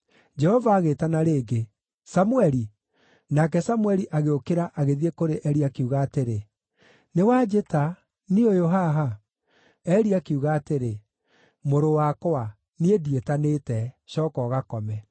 Jehova agĩĩtana rĩngĩ, “Samũeli!” Nake Samũeli agĩũkĩra, agĩthiĩ kũrĩ Eli, akiuga atĩrĩ, “Nĩ wanjĩta; niĩ ũyũ haha.” Eli akiuga atĩrĩ, “Mũrũ wakwa, niĩ ndiĩtanĩte; cooka ũgakome.”